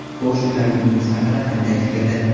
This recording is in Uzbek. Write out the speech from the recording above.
Xo‘sh, ular yurtimiz haqida qanday fikrda?